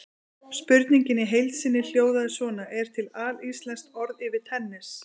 Spurningin í heild sinni hljóðaði svona: Er til alíslenskt orð yfir tennis?